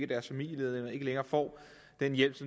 deres familiemedlemmer ikke længere får den hjælp